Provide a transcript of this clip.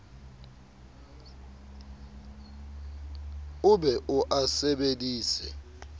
o be o a sebedise